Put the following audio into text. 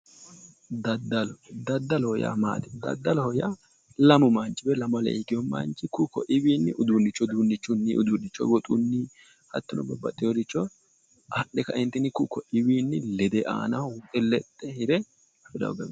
Daddalo. daddaloho yaa maati? daddaloho yaa lamu manchi woyi lamu alee higewo manchi ku'u kuiwiinni uduunnicho woxunni hattono babbaxewooricho adhe kaeentinni ku'u koiwiinni lede aanahi lexxe hire..